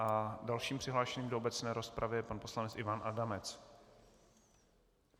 A dalším přihlášeným do obecné rozpravy je pan poslanec Ivan Adamec.